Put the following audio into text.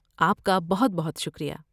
آپ کا بہت بہت شکریہ!